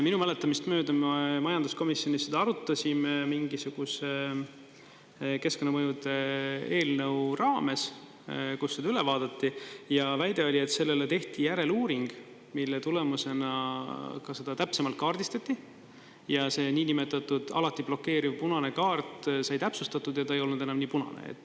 Minu mäletamist mööda me majanduskomisjonis seda arutasime mingisuguse keskkonnamõjude eelnõu raames, kus seda üle vaadati, ja väide oli, et sellele tehti järeluuring, mille tulemusena ka seda täpsemalt kaardistati, ja see niinimetatud alati blokeeriv punane kaart sai täpsustatud ja ta ei olnud enam nii punane.